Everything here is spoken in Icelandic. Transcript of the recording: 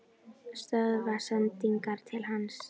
Stöðva sendingar til hans?